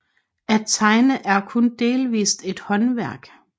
At tegne er kun delvist et håndværk